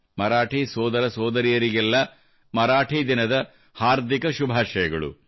ಮರಾಠಿ ಸೋದರ ಸೋದರಿಯರಿಗೆಲ್ಲಾ ಮರಾಠಿ ದಿನದ ಹಾರ್ದಿಕ ಶುಭಾಶಯಗಳು